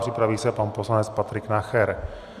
Připraví se pan poslanec Patrik Nacher.